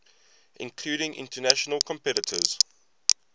including international competitors